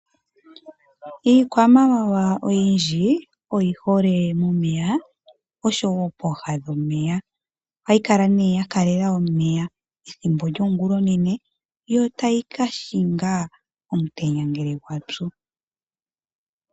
Iikwamawawa oyindji oyihole momeya oshowo pooha dhomeya. Ohayi kala nee yakalela omeya ethimbo lyongula onene yo tayi kashinga omutenya ngele watsu.